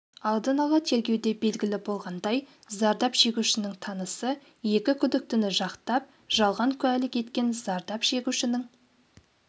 алдын ала тергеуде белгілі болғандай зардап шегушінің танысы екі күдіктіні жақтап жалған куәлік еткен зардап шегушінің